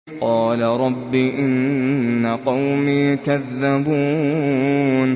قَالَ رَبِّ إِنَّ قَوْمِي كَذَّبُونِ